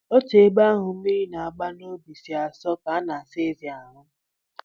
Otu ebe ahụ mmiri a na-agba n'ubi si asọ ka a na-asa ezi ahụ